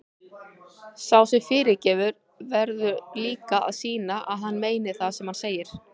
Sá sem fyrirgefur verður líka að sýna að hann meini það sem hann segir.